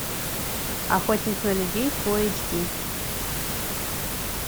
охотник на людей фулл эйч ди